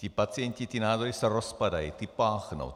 Ti pacienti, ty nádory se rozpadají, ty páchnou.